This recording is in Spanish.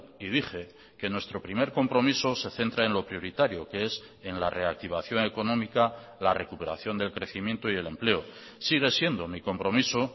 y dije que nuestro primer compromiso se centra en lo prioritario que es en la reactivación económica la recuperación del crecimiento y el empleo sigue siendo mi compromiso